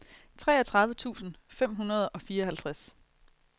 treogtredive tusind fem hundrede og fireoghalvtreds